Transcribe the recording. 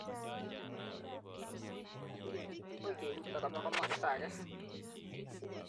Agoi keuto koba komosta age.